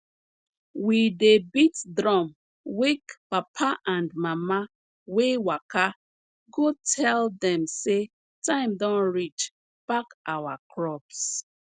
we dey beat drum wake papa and mama wey waka go tell dem say time don reach pack our crops